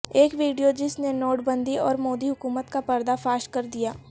ایک ویڈیو جس نے نوٹ بندی اور مودی حکومت کا پردہ فاش کر دیا